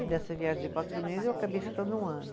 E dessa viagem de quatro meses, eu acabei ficando um ano.